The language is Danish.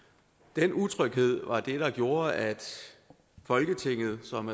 den utryghed var det der gjorde at folketinget som